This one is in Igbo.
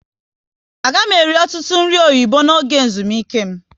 A ga m eri ọtụtụ nri oyibo n'oge ezumike m